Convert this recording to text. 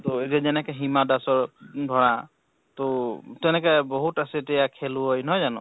ত এতিয়া যেনেকে হিমা দাসৰ ধৰা তহ তেনেকে বহুত আছে এতিয়া খেলুৱৈ, নহয় জানো?